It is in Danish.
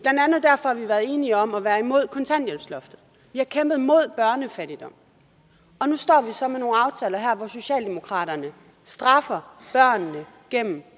og enige om at være imod kontanthjælpsloftet vi har kæmpet mod børnefattigdom og nu står vi så med nogle aftaler her hvor socialdemokraterne straffer børnene gennem